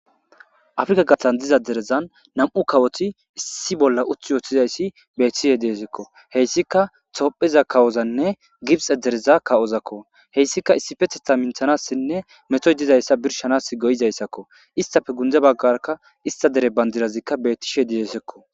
afrika gathan diza derezan nam7u kawoti issi bolla uth wooththizayssi bethishe deesekko heyssika topheza kawozanne gibxe dereza kawozakko heyssika issifethetha minthanassinne metoy dizayssa birshanas goyizayssakko istafe gunde baggarka ista dere bandirazikka betishe diesekko